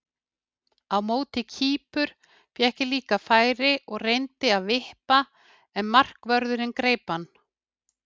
Á móti Kýpur fékk ég líka færi og reyndi að vippa en markvörðurinn greip hann.